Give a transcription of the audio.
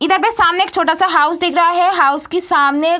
इधर पे सामने एक छोटा सा हाउस दिख रहा है हाउस की सामने --